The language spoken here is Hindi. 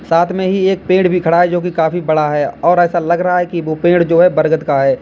साथ में ही एक पेड़ भी खड़ा है जो की काफी बड़ा है और ऐसा लग रहा है कि वह पेड़ जो है बरगद का है।